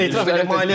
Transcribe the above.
Etiraf edim.